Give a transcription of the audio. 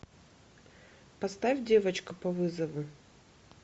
поставь девочка по вызову